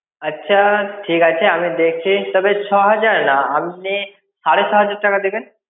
আচ্ছা ঠিক আছে আমি দেখছি তবে ছ হাজার না আপনি সাড়ে ছ হাজার টাকা দিবেন.